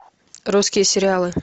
русские сериалы